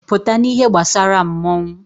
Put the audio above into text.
Pụta n'ihe gbasara mmọnwụ!